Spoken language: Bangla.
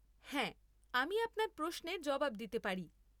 হ্যাঁ আমি আপনার প্রশ্নের জবাব দিতে পারি।